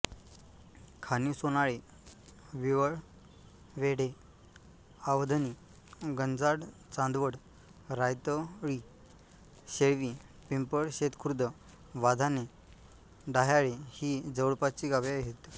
खाणिव सोनाळे विवळवेढे आवधणी गंजाडचांदवड रायतळी शेळटी पिंपळशेतखुर्द वाधाणे डाह्याळे ही जवळपासची गावे आहेत